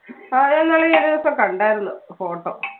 ആ ഞാൻ ഇന്നാള് ഒരുദിവസം കണ്ടായിരുന്നു photo